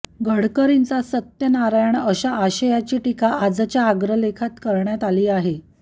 गडकरींचा सत्यनारायण अशा आशयाची टीका आजच्या अग्रलेखात करण्यात आली आहे